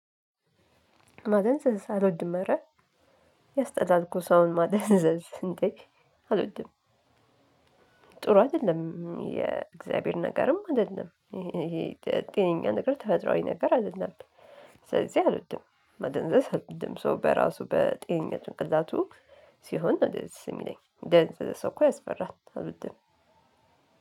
ማደንዘዝ አልወድም አረ ያስጠላል እኮ ሰውን ማደንዘዝ እንዴ አልወድም። ጥሩ አይደለም የእግዚአብሔር ነገርም አይደለም። ይሄ ይሄ ጤነኛ ነገር ተፈጥሮአዊ ነገር አይደለም። ስለዚህ አልወድም መደንዘዝ አልወድም። ሰው በራሱ በጤነኛ ጭንቅላቱ ሲሆን ነው ደስ የሚለኝ የደነዘዘ ሰው እኮ ያስፈራል። አልወድም